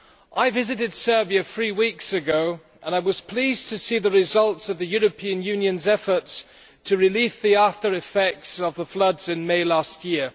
I visited Serbia three weeks ago and I was pleased to see the results of the European Union's efforts to relieve the after effects of the floods in May last year.